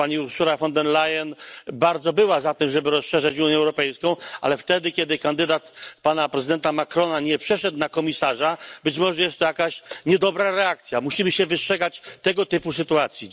Otóż pani Ursula von der Leyen bardzo była za tym, żeby rozszerzać Unię Europejską, ale wtedy, kiedy kandydat pana prezydenta Macrona nie przeszedł na komisarza, być może jest to jakaś niedobra reakcja. Musimy się wystrzegać tego typu sytuacji.